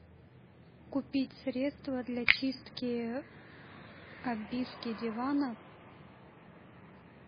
купить средство для чистки обивки дивана